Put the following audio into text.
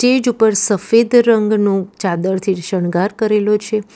Stage ઉપર સફેદ રંગનું ચાદરથી શણગાર કરેલો છે.